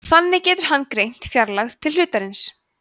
þannig getur hann greint fjarlægð til hlutarins